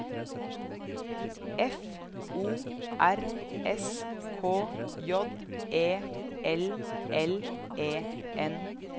F O R S K J E L L E N